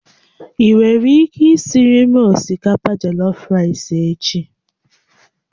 Ị nwere ike isiiri m osikapa jollof echi?